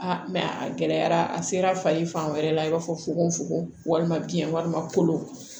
mɛ a gɛlɛyara a sera fali fan wɛrɛ la i b'a fɔ fogofogo walima biyɛn walima kolo